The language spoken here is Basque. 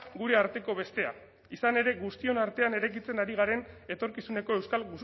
gure arteko bestea izan ere guztion artean eraikitzen ari garen etorkizuneko euskal